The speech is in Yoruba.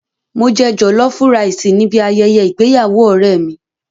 Mo jẹ jọ̀lọ́fú raìsì níbi ayẹyẹ ìgbéyàwó ọ̀rẹ́ mi.